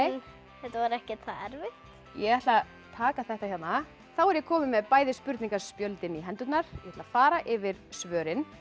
þetta var ekkert það erfitt ég ætla að taka þetta hérna þá er ég komin með bæði spurningaspjöldin í hendurnar ég ætla að fara yfir svörin